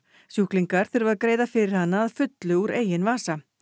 sjúklingar þurfa að greiða fyrir hana að fullu úr eigin vasa